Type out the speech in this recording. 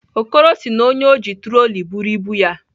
Okoro sị na onye ọ ji troli buru ibu ya.